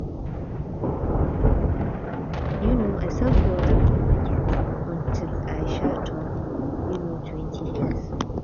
um i sell pure water for market until i um turn um twenty years